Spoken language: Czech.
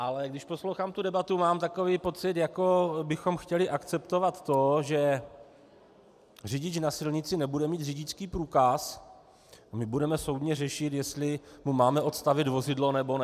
Ale když poslouchám tu debatu, mám takový pocit, jako bychom chtěli akceptovat to, že řidič na silnici nebude mít řidičský průkaz a my budeme soudně řešit, jestli mu máme odstavit vozidlo, nebo ne.